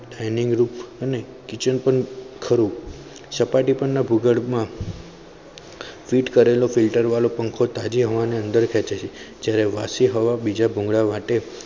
dining room અને kitchen પણ ખરું સપાટી પરના ભુગર્બ માં ફીટ કરેલો filter વાળો પંખો તાજી હવાને અંદર ખેંચી છે જયારે વશી હવા બીજા ભુંગળામાટે